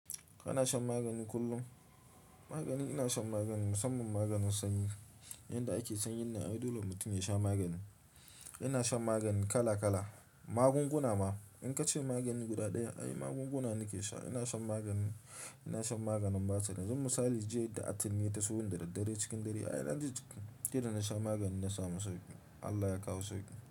Kana shan magani kullum? Magani ina shan magani musamman maganin sanyi. Yanda ake sanyin nan ai dole mutum ya sha magani. Ina shan magani kala kala. Magunguna ma in ka ce magani guda ɗaya ai magunguna nake sha. Ina shan magani, ina shan maganin Basir. Kaman misali jiya da atimi ya tasoni dadaddare cikin dare ai na ji jiki, sai dana sha magani na samu sauƙi. Allah ya kawo sauƙi.